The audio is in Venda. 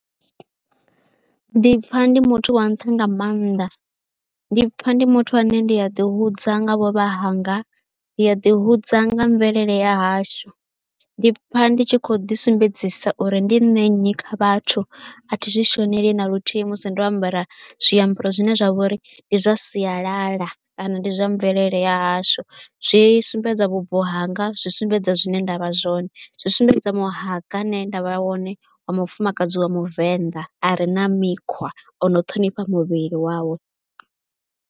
Ndi pfha ndi muthu wa nṱha nga maanḓa, ndi pfha ndi muthu ane ndi a ḓihudza nga vhuvha hanga, ndi a ḓihudza nga mvelele ya hashu, ndi pfha ndi tshi khou ḓisumbedzisa uri ndi nṋe nnyi kha vhathu, a thi zwi shonela na luthihi musi ndo ambara zwiambaro zwine zwa vha uri ndi zwa sialala kana ndi zwa mvelele ya hashu. Zwi sumbedza vhubvo hanga, zwi sumbedza zwine nda vha zwone, zwi sumbedza muhanga ane nda vha wane wa mufumakadzi wa muvenḓa a re na mikhwa, o no ṱhonifha muvhili wawe.